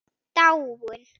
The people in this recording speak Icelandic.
Dáin?